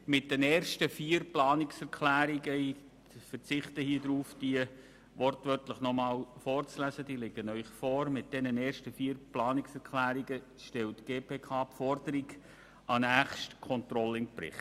Mit den ersten vier Planungserklärungen stellt die GPK Forderungen an den nächsten Controlling-Bericht.